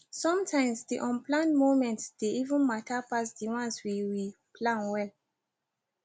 sometimes the unplanned moments dey even matter pass the ones we we plan well